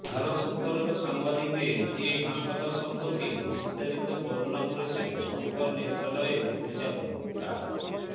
ভারত সফররত সাংবাদিকদের এ হাসপাতাল সম্পর্কে বিস্তারিত বর্ণনা করছিলেন শঙ্কর নেত্রালয়ের পরিচালক ডা